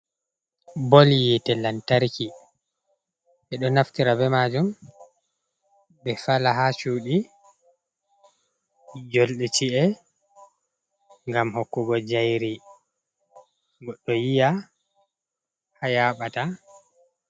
Bol yite lantarki ɓeɗo naftira be majum ɓe fala ha cuɗi, jolɗe ci’e ngam hokkugo jayri bo goɗɗo yiya ha yaɓata.